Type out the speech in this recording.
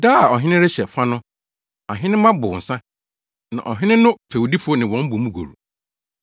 Da a ɔhene rehyɛ fa no ahenemma bow nsa, na ɔhene no fɛwdifo ne wɔn bɔ mu goru.